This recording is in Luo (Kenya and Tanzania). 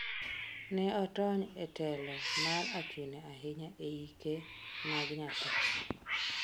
ne otony e telo mar achune ahinya e ike mag nyathi